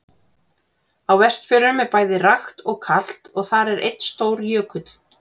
Á Vestfjörðum er bæði rakt og kalt og þar er einn stór jökull.